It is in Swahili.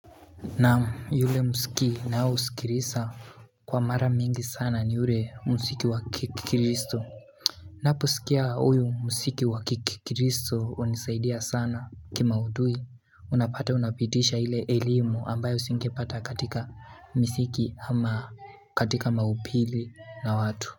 Na yule muziki naosikiliza kwa mara mingi sana ni ule muziki wa kikristo Naposikia huyu mzsiki wa kikristo hunisaidia sana Kimaudhui unapata unapitisha ile elimu ambayo singepata katika muziki ama katika maupili na watu.